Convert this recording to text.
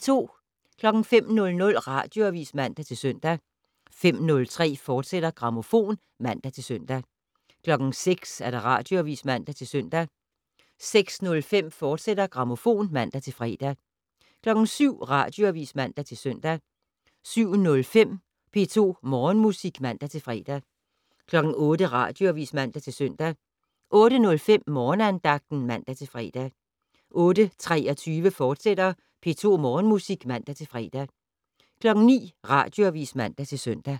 05:00: Radioavis (man-søn) 05:03: Grammofon *(man-søn) 06:00: Radioavis (man-søn) 06:05: Grammofon, fortsat (man-fre) 07:00: Radioavis (man-søn) 07:05: P2 Morgenmusik (man-fre) 08:00: Radioavis (man-søn) 08:05: Morgenandagten (man-fre) 08:23: P2 Morgenmusik, fortsat (man-fre) 09:00: Radioavis (man-søn)